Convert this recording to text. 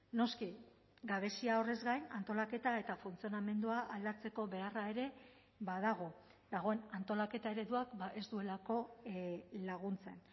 noski gabezia horrez gain antolaketa eta funtzionamendua aldatzeko beharra ere badago dagoen antolaketa ereduak ez duelako laguntzen